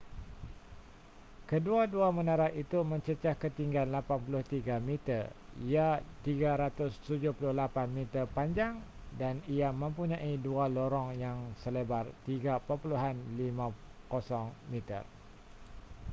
kedua-dua menara itu mencecah ketinggian 83 meter ia 378 meter panjang dan ia mempunyai dua lorong yang selebar 3.50 m